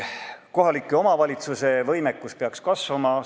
Kohalike omavalitsuste võimekus peaks kasvama.